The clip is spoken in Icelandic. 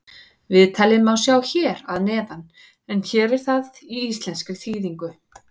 Viðtalið má sjá hér að neðan en hér er það í íslenskri þýðingu.